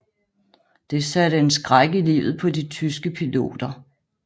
Det satte en skræk i livet på de tyske piloter